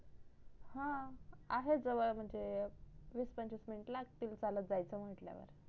हा आहे जवडम्हणजे वीस पंचवीस मिनिट लागतील चालत जायचं म्हटल्यावर